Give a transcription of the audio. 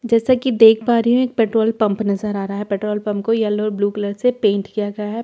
जैसे कि देख पा रहे हो एक पेट्रोल पंप नजर आ रहा है पेट्रोल पंप को येलो कलर से पेंट किया गया है पेट्रोल पंप प--